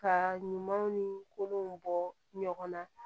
Ka ɲumanw ni kolonw bɔ ɲɔgɔn na